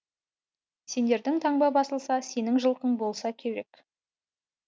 сендердің таңба басылса сенің жылқың болса керек